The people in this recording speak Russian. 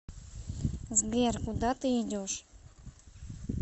сбер куда ты идешь